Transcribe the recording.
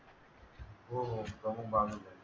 हो हो प्रमुख भाग